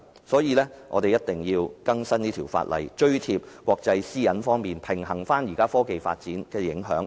所以，我們必須更新這項法例，追貼國際對私隱方面的要求及平衡現時科技發展的影響。